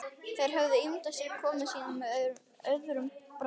Þeir höfðu ímyndað sér komu sína með öðrum brag.